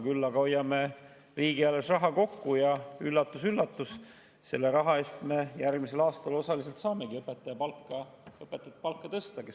Küll aga hoiame sellega riigieelarves raha kokku ja üllatus-üllatus, osaliselt selle raha eest me järgmisel aastal saamegi õpetajate palka tõsta.